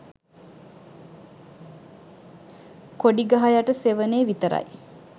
"කොඩි ගහ යට සෙවනේ" විතරයි